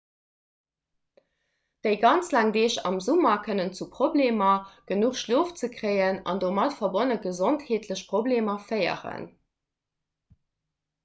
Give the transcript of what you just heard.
déi ganz laang deeg am summer kënnen zu problemer genuch schlof ze kréien an domat verbonne gesondheetleche problemer féieren